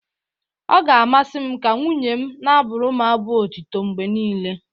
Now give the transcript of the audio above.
Ọ ga-amasị m ka nwunye m na-abụrụ m abụ otito mgbe niile.